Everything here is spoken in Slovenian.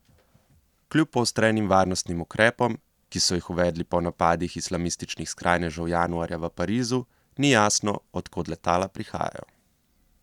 Kljub poostrenim varnostnim ukrepom, ki so jih uvedli po napadih islamističnih skrajnežev januarja v Parizu, ni jasno, od kod letala prihajajo.